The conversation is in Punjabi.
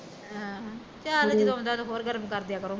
ਆਹੋ ਚੱਲ ਜਦੋਂ ਆਉਂਦਾ ਤੇ ਹੋਰ ਗਰਮ, ਕਰਦਿਆ ਕਰੋ ਮਸਾ ਕੁ